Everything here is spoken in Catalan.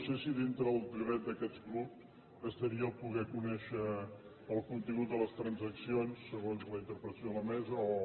no sé si d’entre els drets d’aquest grup estaria poder conèixer el contingut de les transaccions segons la interpretació de la mesa o